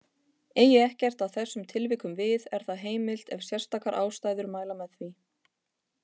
Eigi ekkert að þessum tilvikum við er það heimilt ef sérstakar ástæður mæla með því.